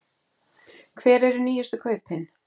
Hver eru nýjustu kaupin?